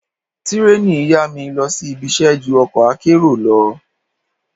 Tírèènì yá mi lọ sí ibiṣẹ́ ju ọkọ̀ akérò lọ.